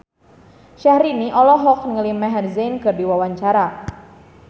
Syahrini olohok ningali Maher Zein keur diwawancara